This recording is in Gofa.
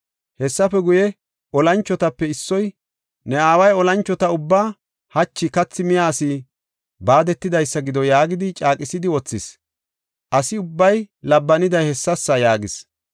Hessafe guye, olanchotape issoy, “Ne aaway olanchota ubbaa, ‘Hachi kathi miya asi baadetidaysa gido’ yaagidi, caaqisidi wothis; asa ubbay labbaniday hessasa” yaagis.